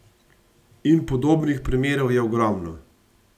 In podobnih primerov je ogromno.